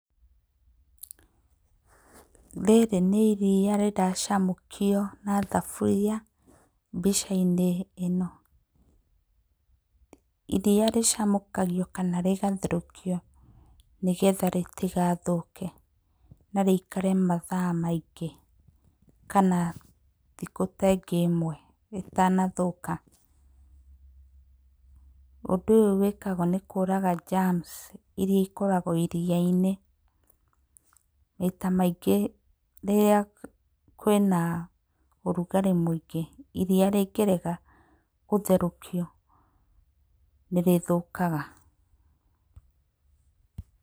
Rĩrĩ nĩ iria riracamũkio na thaburia mbica-inĩ ĩno. Iria rĩcamũkagio kana rĩgatherũkio nĩgetha rĩtigathũke na rĩikare mathaa maingĩ kana thikũ ta ingĩ ĩmwe ritanathũka. Ũndũ ũyũ wĩkagwo nĩ kũũraga germs irĩa ikoragwo iria-inĩ. Maita maingĩ rĩrĩa kwĩna ũrugarĩ mũingĩ iria rĩngĩaga gũtherũkio nĩ rĩthũkaga.